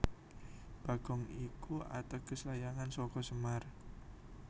Bagong iku ateges layangan saka semar